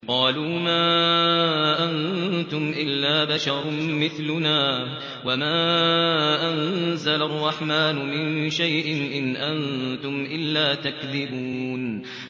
قَالُوا مَا أَنتُمْ إِلَّا بَشَرٌ مِّثْلُنَا وَمَا أَنزَلَ الرَّحْمَٰنُ مِن شَيْءٍ إِنْ أَنتُمْ إِلَّا تَكْذِبُونَ